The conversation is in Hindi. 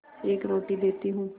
एक रोटी देती हूँ